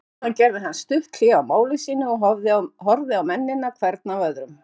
Síðan gerði hann stutt hlé á máli sínu og horfði á mennina hvern af öðrum.